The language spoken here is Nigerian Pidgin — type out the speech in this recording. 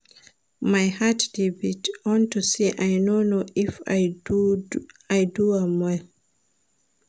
My heart dey beat unto say I no know if I do am well